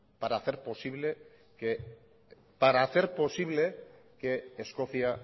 para hacer posible que escocia